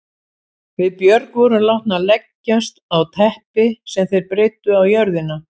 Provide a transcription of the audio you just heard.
Við Björg vorum látnar leggjast á teppi sem þeir breiddu á jörðina.